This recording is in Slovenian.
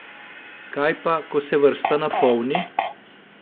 Kaj pa, ko se vrsta napolni?